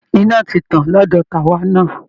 Iná ti tàn lọ́dọ̀ tàwa náà